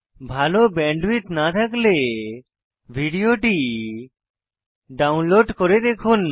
ভাল ব্যান্ডউইডথ না থাকলে ভিডিওটি ডাউনলোড করে দেখুন